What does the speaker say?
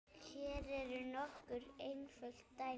Hér eru nokkur einföld dæmi